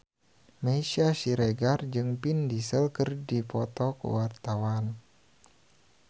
Meisya Siregar jeung Vin Diesel keur dipoto ku wartawan